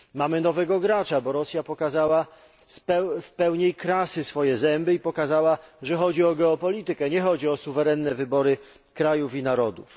Mamy nowego gracza, bo Rosja pokazała w pełni krasy swoje zęby i pokazała, że chodzi o geopolitykę, a nie o suwerenne wybory krajów i narodów.